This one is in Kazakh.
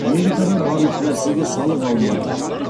америкада барлық нәрсеге салық алынады